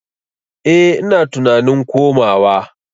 Eh ina tunanin komawa.